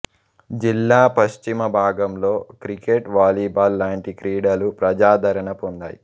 జిల్లా పశ్చిమ భాగంలో క్రికెట్ వాలీబాల్ లాంటి క్రీడలు ప్రజాదరణ పొందాయి